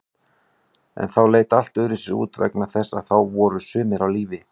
En þá leit allt öðruvísi út vegna þess að þá voru sumir á lífi.